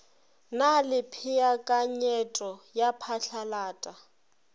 na le peakanyeto ya phatlalata